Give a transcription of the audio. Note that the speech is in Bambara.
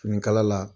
Finikala la